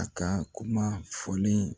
A ka kuma fɔlen